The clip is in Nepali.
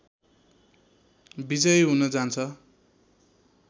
विजयी हुन जान्छ